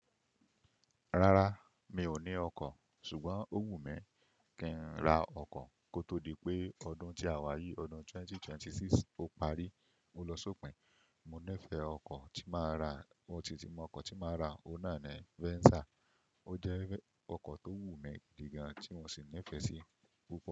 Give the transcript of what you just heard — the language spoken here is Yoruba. Rárá, mi ò ní ọkọ̀. Ṣùgbọ́n ó wù mí kí n ra ọkọ̀ kó tó di pé ọdún tí a wá yí, ọdún 2026 ó parí, o ló ṣọ̀pìn. Mo nífẹ̀ẹ́ ọkọ̀ tí máa rà, mo si ti mọ ọkọ̀ tí máa rà, òun náà ni Venza. Ó jẹ́ ọkọ̀ tó wù mí gidi gan ti mo sì nífẹ̀ẹ́ sí púpọ̀